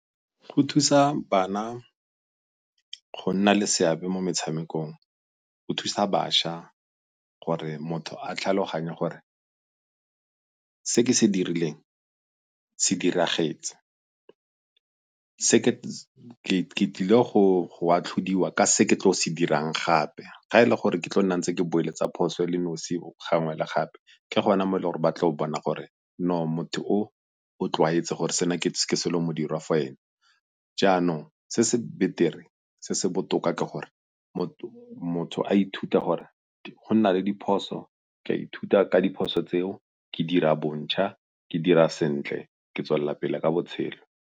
Go thusa bana go nna le seabe mo metshamekong, go thusa bašwa gore motho a tlhaloganye gore se ke se dirileng se diragetse ke tlile go atlhodiwa ka se ke tlo se dirang gape. Ga e le gore ke tlo nna ntse ke boeletsa phoso e le nosi gangwe le gape ke gona mo e le goreng ba tlo bona gore no motho o o tlwaetse gore sena ke selo modiriwa mo go ene. Jaanong se se betere se se botoka ke gore motho a ithuta gore go na le diphoso, ke a ithuta ka diphoso tseo, ke dira bontjha ke dira sentle ke tswelela pele ka botshelo.